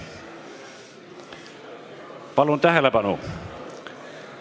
Palun tähelepanu!